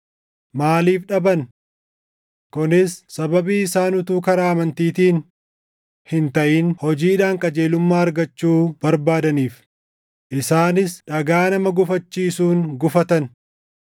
Maaliif dhaban? Kunis sababii isaan utuu karaa amantiitiin hin taʼin hojiidhaan qajeelummaa argachuu barbaadaniif; isaanis dhagaa nama gufachiisuun gufatan.